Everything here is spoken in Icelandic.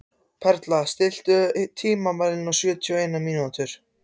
Perla, stilltu tímamælinn á sjötíu og eina mínútur.